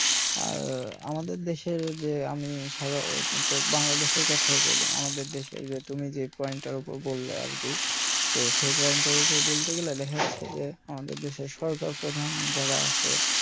আর আমাদের দেশের যে আমি সাধারনত বাংলাদেশের কথাই বলি আমাদের দেশের যে তুমি যে point টার ওপরে বললে আরকি তো সেই point এর ওপর বলতে গেলে যে আমাদের দেশের সরকার প্রধান যারা আছে